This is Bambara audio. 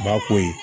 Ba ko ye